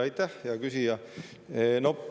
Aitäh, hea küsija!